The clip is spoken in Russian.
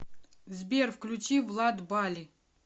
сбер включи влад бали